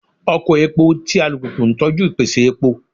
Oko epo ti alupupu n tọju ipese epo